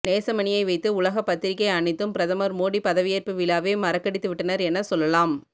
நேசமணியை வைத்து உலக பத்திரிகை அனைத்தும் பிரதமர் மோடி பதவியேற்பு விழாவே மறக்கடித்துவிட்டனர் என சொல்லலாம்